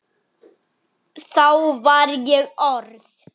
Þá var ég orð